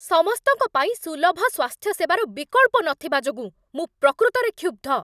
ସମସ୍ତଙ୍କ ପାଇଁ ସୁଲଭ ସ୍ୱାସ୍ଥ୍ୟସେବାର ବିକଳ୍ପ ନଥିବା ଯୋଗୁଁ ମୁଁ ପ୍ରକୃତରେ କ୍ଷୁବ୍ଧ।